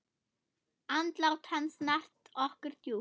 Andlát hans snart okkur djúpt.